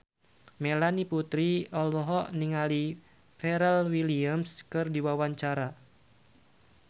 Melanie Putri olohok ningali Pharrell Williams keur diwawancara